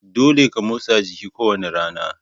Dolle ka motsa jiki ko wani rana.